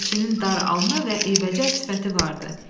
Dəmirçinin dar alnı və eybəcər sifəti vardı.